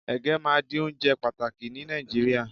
ege ma di onjẹ pàtàkì ni Naijiria